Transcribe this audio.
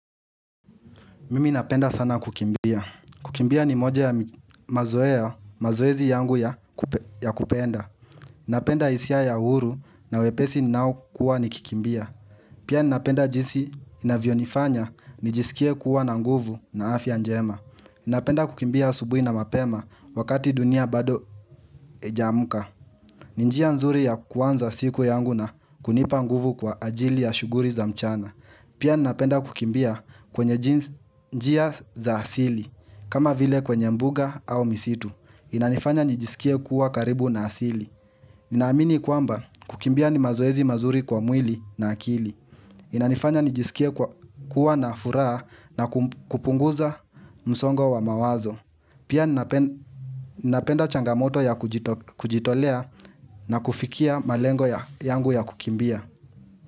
Mimi napenda sana kukimbia. Kukimbia ni moja ya mazoezi yangu ya kupenda. Napenda isia ya uru na wepesi ninao kuwa nikikimbia. Pia napenda jinsi inavyo nifanya nijisikie kuwa na nguvu na afya njema. Napenda kukimbia asubui na mapema wakati dunia bado ijaamuka. Ninjia nzuri ya kuanza siku yangu na kunipa nguvu kwa ajili ya shuguri za mchana. Pia ninapenda kukimbia kwenye njia za asili, kama vile kwenye mbuga au misitu. Inanifanya nijisikie kuwa karibu na asili. Ninaamini kwamba kukimbia ni mazoezi mazuri kwa mwili na akili. Inanifanya nijisikie kuwa na furaha na kupunguza msongo wa mawazo. Pia ninapenda changamoto ya kujitolea na kufikia malengo yangu ya kukimbia.